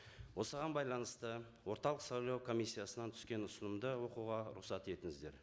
осыған байланысты орталық сайлау комиссиясынан түскен ұсынымды оқуға рұқсат етіңіздер